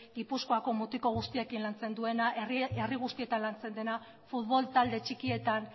gipuzkoako mutiko guztiekin lantzen duena herri guztietan lantzen dena futbol talde txikietan